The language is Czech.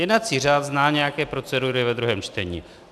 Jednací řád zná nějaké procedury ve druhém čtení.